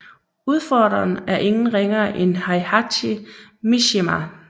Udfordreren er ingen ringere end Heihachi Mishima